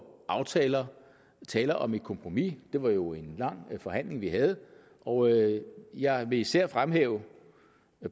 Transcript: aftaler tale om et kompromis det var jo en lang forhandling vi havde og jeg vil især fremhæve